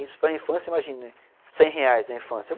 Isso para infância, imagina, cem reais na infância.